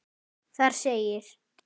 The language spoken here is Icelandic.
Þar segir: